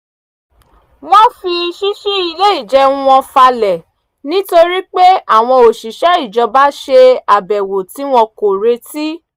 wọ́n fi ṣíṣí ilé ìjẹun wọn falẹ̀ nítorí pé àwọn òṣìṣẹ́ ìjọba ṣe àbèwò tí wọn kò retí